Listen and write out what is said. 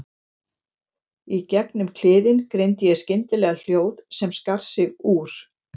Í gegnum kliðinn greindi ég skyndilega hljóð sem skar sig úr.